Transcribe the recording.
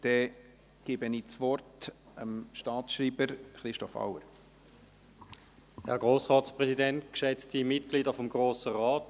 Ich erteile somit dem Staatsschreiber, Christoph Auer, das Wort.